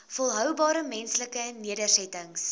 volhoubare menslike nedersettings